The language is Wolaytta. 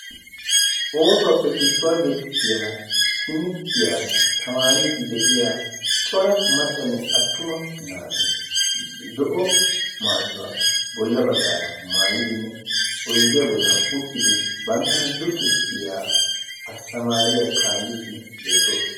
Oosuwaappe issuwaa geetettiya timirttiyaa tamaariddi de'iya cora maccanne attuma naati zo'o maayiwaa bolla baggaara maayidinne oydiyaa bollan uttidi banttana luxissiyaa asttamaariya kaalliiddi beettoosona.